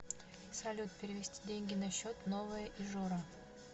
салют перевести деньги на счет новая ижора